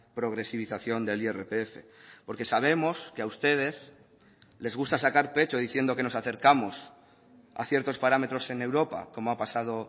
progresivización del irpf porque sabemos que a ustedes les gusta sacar pecho diciendo que nos acercamos a ciertos parámetros en europa como ha pasado